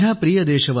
जय हिंद जय हिंद